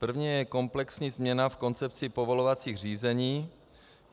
První je komplexní změna v koncepci povolovacích řízení.